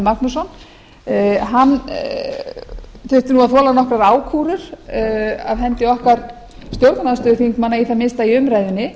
magnússon þurfti að þola nokkrar ákúrur af hendi okkar stjórnarandstöðuþingmanna í það minnsta í umræðunni